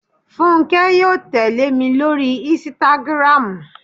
Fúnkẹ́ yóò tẹ́lè mi lórí ísítágírámù